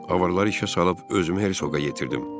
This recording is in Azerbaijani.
Avarları işə salıb özümü Hersoqa yetirdim.